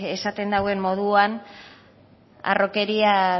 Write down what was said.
esaten dauen moduan harrokeriaz